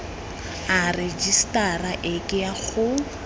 a rejisetara e ke go